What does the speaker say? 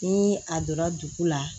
Ni a donra dugu la